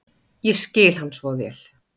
Ég skil hann svo vel.